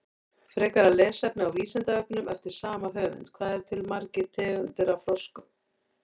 Frekara lesefni á Vísindavefnum eftir sama höfund: Hvað eru til margar tegundir af froskum?